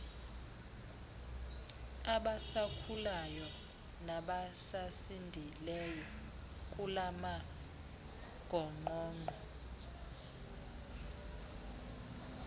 abasakhulayo nabasasindileyo kulamagongqongqo